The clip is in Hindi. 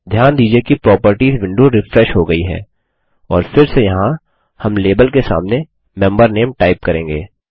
ध्यान दीजिए कि प्रॉपर्टीज विंडो रिफ्रेश हो गयी है और फिर से यहाँ हम लाबेल के सामने मेंबर नामे टाइप करेंगे